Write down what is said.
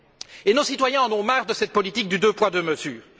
Et nos citoyens en ont marre de cette politique du deux poids, deux mesures.